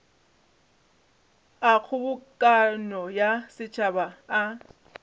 a kgobokano ya setšhaba a